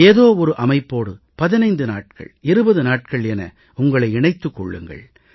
ஏதோ ஒரு அமைப்போடு 15 நாட்கள் 20 நாட்கள் என உங்களை இணைத்துக் கொள்ளுங்கள்